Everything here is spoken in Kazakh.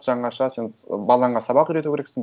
жаңаша сен ы балаңа сабақ үйрету керексің